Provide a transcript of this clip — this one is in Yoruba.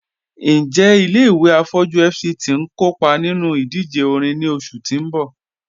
Njẹ̀ ilẹ̀-ìwé afọjú FCT n kọọpa nínú ìdíjè òrìṅ ni oṣù tì n bọ́?